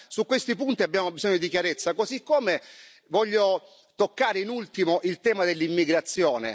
Allora su questi punti abbiamo bisogno di chiarezza, così come voglio toccare, in ultimo, il tema dell'immigrazione.